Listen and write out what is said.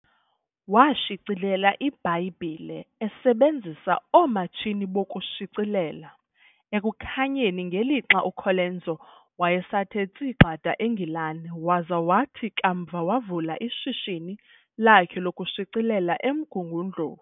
Washicilela iiBhayibhile esebenzisa oomatshini bokushicilela Ekukhanyeni ngelixa uColenso wayesathe tsi gxada eNgilane, waza wathi kamva wavula ishishini lakhe lokushicilela eMgungundlovu